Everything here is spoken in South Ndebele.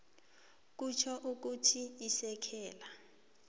kutjho ukuthi isekela